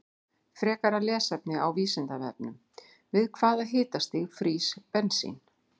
Frekara lesefni á Vísindavefnum: Við hvaða hitastig frýs bensín?